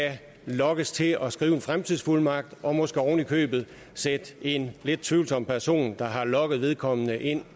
lokkes til at skrive en fremtidsfuldmagt og måske oven i købet sætte en lidt tvivlsom person der har lokket vedkommende ind